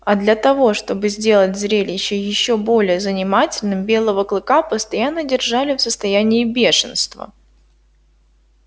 а для того чтобы сделать зрелище ещё более занимательным белого клыка постоянно держали в состоянии бешенства